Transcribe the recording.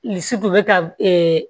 bɛ ka